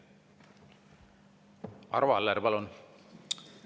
Arvo Aller, palun!